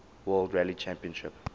world rally championship